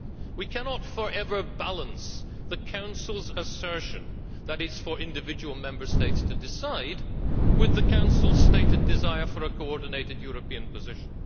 We cannot forever balance the Council's assertion that it is for individual Member States to decide with the Council's stated desire for a coordinated European position.